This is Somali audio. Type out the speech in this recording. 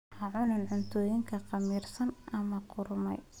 Ha cunin cuntooyinka khamiirsan ama qudhuntay.